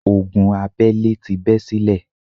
Ogun abẹ́lẹ́ ti bẹ́ sílẹ̀.